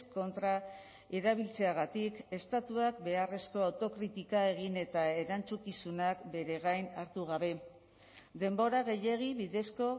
kontra erabiltzeagatik estatuak beharrezko autokritika egin eta erantzukizunak bere gain hartu gabe denbora gehiegi bidezko